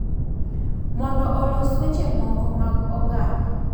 Mondo olos weche moko mag oganda,